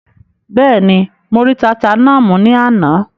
Bẹ́ẹ̀ni, mo rí tata náà mú ní àná?